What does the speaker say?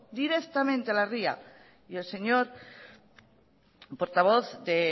directamente a la ría y el señor portavoz de